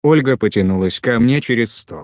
ольга потянулась ко мне через стол